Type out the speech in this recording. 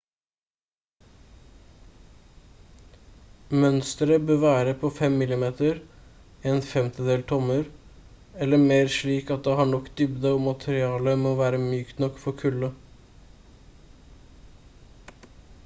mønsteret bør være på 5 mm 1/5 tommer eller mer slik at det har nok dybde og materialet må være mykt nok for kulde